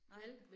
Nej